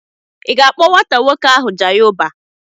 I ga-akpọ nwata nwoke ahụ Jayeọba.